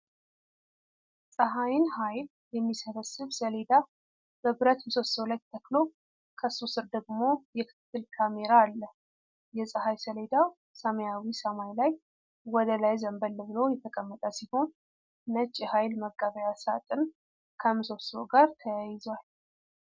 ፀሐይን ኃይል የሚሰበስብ ሰሌዳ በብረት ምሰሶ ላይ ተተክሎ፤ ከሱ ስር ደግሞ የክትትል ካሜራ አለ። የፀሐይ ሰሌዳው ሰማያዊው ሰማይ ላይ ወደ ላይ ዘንበል ብሎ የተቀመጠ ሲሆን፤ ነጭ የኃይል መቀበያ ሳጥን ከምሰሶው ጋር ተያይዟል።